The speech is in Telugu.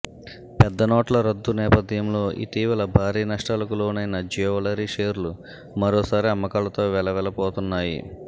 పెద్ద నోట్ల రద్దు నేపథ్యంలో ఇటీవల భారీ నష్టాలకు లోనైన జ్యువెలరీ షేర్లు మరోసారి అమ్మకాలతో వెలవెలపోతున్నాయి